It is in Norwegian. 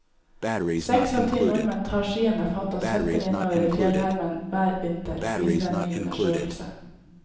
Seks av ti nordmenn tar skiene fatt og svetter innover i fjellheimen hver vinter, viser en ny undersøkelse.